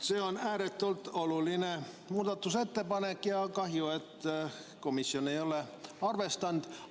See on ääretult oluline muudatusettepanek ja mul on kahju, et komisjon ei ole seda arvestanud.